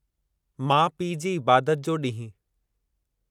माउ पीउ जी इबादत जो ॾींहुं